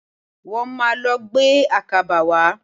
Wọ́n máà lọ gbé àkàbà wá.